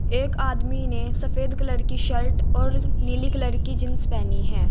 एक आदमी ने सफेद कलर की शल्ट और नीली कलर की जींस पहनी है।